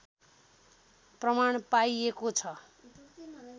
प्रमाण पाइएको छ